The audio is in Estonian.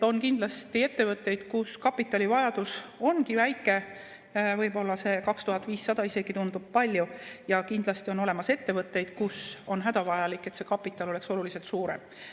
On kindlasti ettevõtteid, kus kapitalivajadus ongi väike, võib-olla see 2500 isegi tundub palju, ja kindlasti on olemas ettevõtteid, kus on hädavajalik, et see kapital oleks oluliselt suurem.